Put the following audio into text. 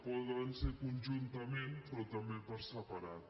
poden ser conjuntament però també per separat